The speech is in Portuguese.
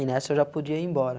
E nessa eu já podia ir embora.